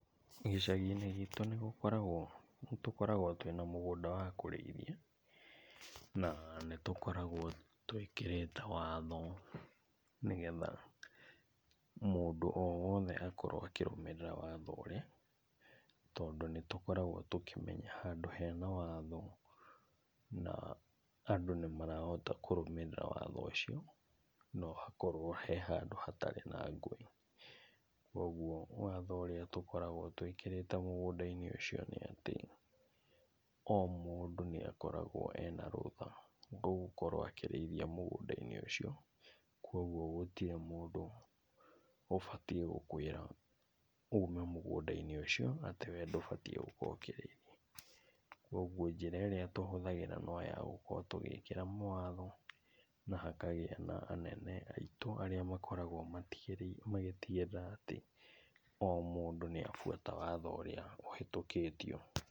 Gĩchagi-inĩ gitũ nĩgũkoragwo, nĩtũkoragwo twĩna mũgũnda wa kũrĩithia na nĩtũkoragwo twĩkĩrĩte watho nĩgetha mũndũ o wothe akorwo akĩrũmĩrira watho ũrĩa, tondũ nĩtũkoragwo tũkĩmenya handũ hena watho, na andũ nĩmarahota kũrũmĩrĩra watho ũcio no hakorwo he handũ hatarĩ na ngũĩ. Kwoguo watho ũrĩa tũkoragwo tũĩkĩrĩte mũgũnda-inĩ ũcio nĩatĩ, o mũndũ nĩakoragwo ena rũtha ũgũkorwo akĩrĩithia mũgũnda-inĩ ũcio kwoguo gũtirĩ mũndũ ũbatiĩ gũkũĩra ume mũgũnda-inĩ ũcio atĩ we ndũbatĩĩ gũkorwo ũkĩrĩithia. Kwoguo njĩra ĩrĩa tũhũthagĩra no yagũkorwo tũgĩkira mawatho na hakagĩa na anene aitũ arĩa makoragwo magĩtigĩrĩra atĩ o mũndũ nĩabuata watho ũrĩa ũhĩtũkĩtio.